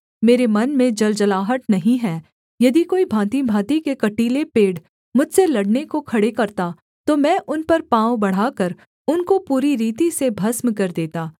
मेरे मन में जलजलाहट नहीं है यदि कोई भाँतिभाँति के कटीले पेड़ मुझसे लड़ने को खड़े करता तो मैं उन पर पाँव बढ़ाकर उनको पूरी रीति से भस्म कर देता